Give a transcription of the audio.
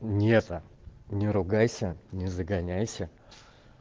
и это не ругайся не загоняйся